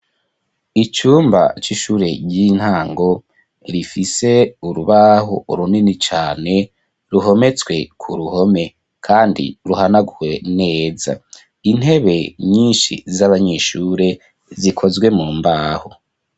Icumba c'ishure ry'intango rifise urubahu urunini cane ruhometswe ku ruhome, kandi ruhanagwe neza intebe nyinshi z'abanyishure zikozwe mu mbahu.